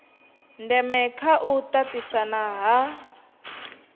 ndeme kha u tatisana ha